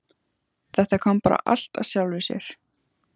Þetta kom bara allt af sjálfu sér.